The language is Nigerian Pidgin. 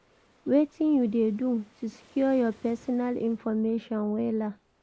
wetin you dey do to secure your pesinal information wella?